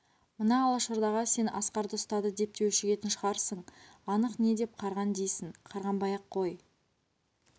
мына алашордаға сен асқарды ұстады деп те өшігетін шығарсың анық не деп қарған дейсің қарғанбай-ақ қой